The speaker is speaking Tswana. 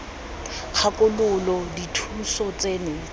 kgakololo j j dithuso tseno